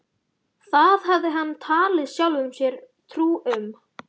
Það hafði hann talið sjálfum sér trú um.